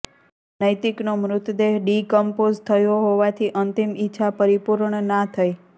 નૈતિકનો મૃતદેહ decompose થયો હોવાથીઅંતિમ ઇચ્છા પરિપૂર્ણ ના થઇ